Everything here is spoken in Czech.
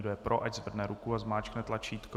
Kdo je pro, ať zvedne ruku a zmáčkne tlačítko.